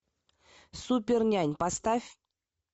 супер нянь поставь